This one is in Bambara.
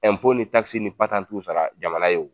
ni ni patantuw sara jamana ye o